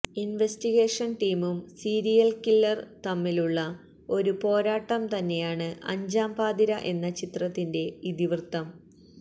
investigation ടീമും serial killer തമ്മിലുളള ഒരു പോരാട്ടം തന്നെയാണ് അഞ്ചാം പാതിരാ എന്ന ചിത്രത്തിന്റെ ഇതിവൃത്തം